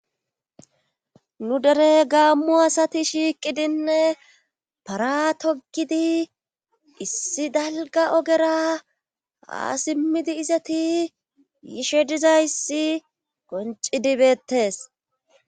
Nu dere gaammu asati shiiqidinne paratogidi issi dalga ogera haasimmidi izati yiishe dizayssi qonci dibeettes.